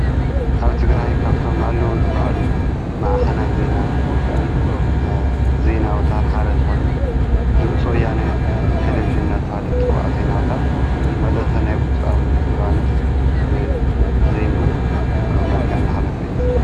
ኣብ ትግራይ ካፍቶም ኣለዉ ዝበሃሉ መኣኸናት ዜና ወይ ኸዓ ዜና ኣውታር ሓደ ዝኾነ ድምፂ ወያነ ቴሌቪዥን እናተበሃለ ዝፅዋዕ ዜና ኣውታር መልእኽቲ ናይ ብጹእ ሊባኖስ ብ ዘይኑኡ መልክዕ እናሓለፈ እዩ ዝርከብ።